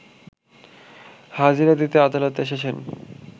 হাজিরা দিতে আদালতে এসেছেন